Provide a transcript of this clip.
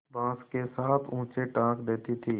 बाँस के साथ ऊँचे टाँग देती थी